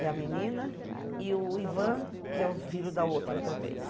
e a menina, e o Ivan, que é o filho da outra também.